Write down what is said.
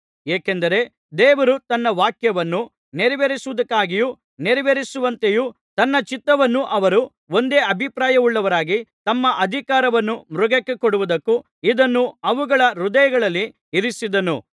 ಏಕೆಂದರೆ ದೇವರು ತನ್ನ ವಾಕ್ಯವನ್ನು ನೆರವೇರಿಸುವುದಕ್ಕಾಗಿಯೂ ನೆರವೇರಿಸುವಂತೆಯೂ ತನ್ನ ಚಿತ್ತವನ್ನು ಅವರು ಒಂದೇ ಅಭಿಪ್ರಾಯವುಳ್ಳವರಾಗಿ ತಮ್ಮ ಅಧಿಕಾರವನ್ನು ಮೃಗಕ್ಕೆ ಕೊಡುವುದಕ್ಕೂ ಇದನ್ನು ಅವುಗಳ ಹೃದಯಗಳಲ್ಲಿ ಇರಿಸಿದ್ದನು